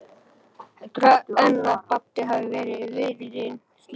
Heldurðu enn að Baddi hafi verið viðriðinn slysið?